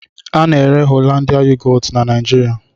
A na-ere yogọtu Hollandia na Naịjirịa.